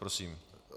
Prosím.